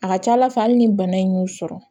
A ka ca ala fɛ hali ni bana in y'u sɔrɔ